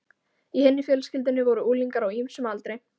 Í hinni fjölskyldunni voru unglingar á ýmsum aldri.